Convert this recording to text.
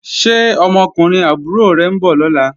Ṣé ọmọkùnrin àbúrò rẹ̀ ń bọ̀ lọ́la?